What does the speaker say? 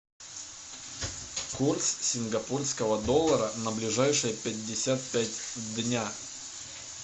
курс сингапурского доллара на ближайшие пятьдесят пять дня